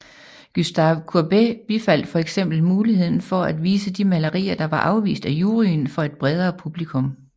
Gustave Courbet bifaldt for eksempel muligheden for at vise de malerier der var afvist af juryen for et bredere publikum